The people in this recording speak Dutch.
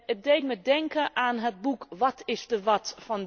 Het deed me denken aan het boek What is the What?